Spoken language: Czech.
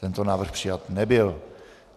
Tento návrh přijat nebyl.